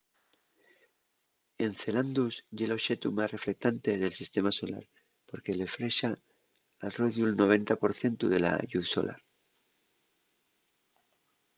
encelandus ye l'oxetu más reflectante del sistema solar porque reflexa al rodiu'l 90 por cientu de la lluz solar